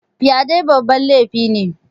Fyaɗe babban laifi ne